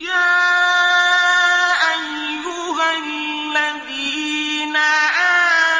يَا أَيُّهَا الَّذِينَ